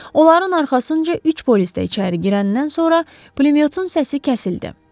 Onların arxasınca üç polis də içəri girəndən sonra pulemyotun səsi kəsildi.